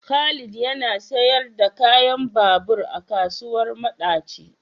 Khalid yana siyar da kayan babur a kasuwar madaci.